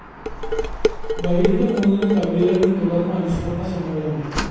വൈകിട്ട് മൂന്നിന് കവിയരങ്ങും തുടര്‍ന്ന് അനുസ്മരണ സമ്മേളനവും